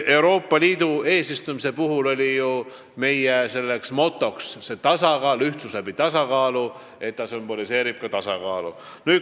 Euroopa Liidu eesistumise puhul oli meie moto "Ühtsus läbi tasakaalu" ja see logo sümboliseerib ka tasakaalu.